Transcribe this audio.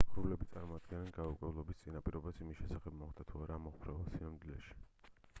ღრუბლები წარმოადგენდნენ გაურკვევლობის წინაპირობას იმ შესახებ მოხდა თუ არა ამოფრვევა სინამდვილეში